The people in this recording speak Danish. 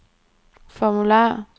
formular